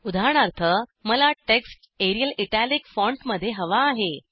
उदाहरणार्थ मला text Arial italic फॉन्टमध्ये हवा आहे